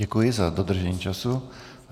Děkuji za dodržení času.